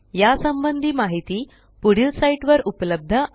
या संबंधी माहिती पुढील साईटवर उपलब्ध आहे